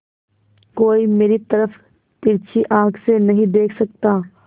कोई मेरी तरफ तिरछी आँख से नहीं देख सकता